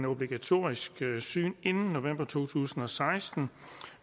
obligatorisk syn inden november to tusind og seksten